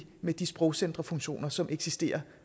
med de sprogcenterfunktioner som eksisterer